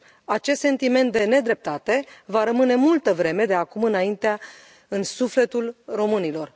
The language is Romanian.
Acest sentiment de nedreptate va rămâne multă vreme de acum înainte în sufletul românilor.